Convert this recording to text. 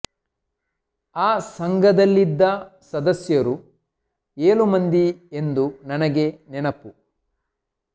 ಆ ಸಂಘದಲ್ಲಿದ್ದ ಸದಸ್ಯರು ಏಳು ಮಂದಿ ಎಂದು ನನಗೆ ನೆನಪು